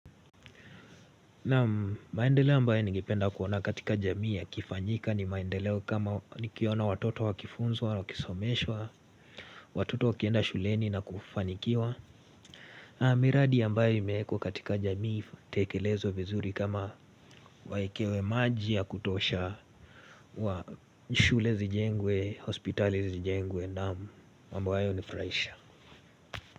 Naam maendeleo ambayo ningependa kuona katika jamii ya kifanyika ni maendeleo kama nikiona watoto wakifunzwa, wakisomeshwa, watoto wakienda shuleni na kufanikiwa miradi ambayo imewekwa katika jamii itekelezwe vizuri kama wawekewe maji ya kutosha wa shule zijengwe, hospitali zijengwe na mambo hayo ya nifurahisha.